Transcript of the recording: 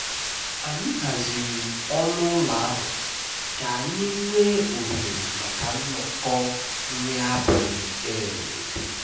anyị haziri ọnụ ụlọ ahụ ka anyị nwee ohere maka nnọkọ nri abalị eid